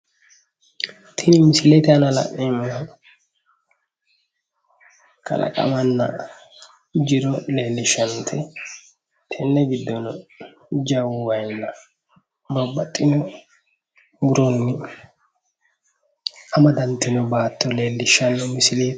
Tini misilete aana la'neemmoti kalaqamanna jiro leelishanote tene giddono jajjaba waa hattono babbaxitino muroni amadantino misile leelishano misileeti.